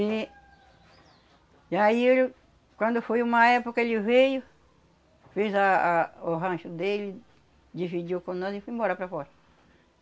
E, e aí, quando foi uma época, ele veio, fez a a o rancho dele, dividiu com nós e foi embora para fora.